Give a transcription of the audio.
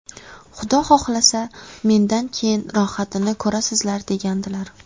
Xudo xohlasa, mendan keyin rohatini ko‘rasizlar” degandilar.